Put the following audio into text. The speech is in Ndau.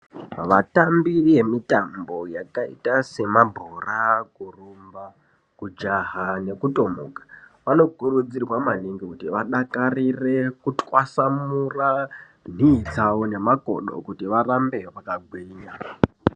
Vatambi ve mitambo yakaita se mabhora kurumba kujaha neku tomuka vano kurudzirwa maningi kuti vadakarire ku twasanura nhii dzavo ne makodo kuti varambe vaka gwinya.